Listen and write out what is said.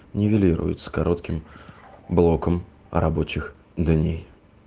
нивелирует с коротким блоком рабочих дней